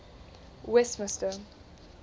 westmister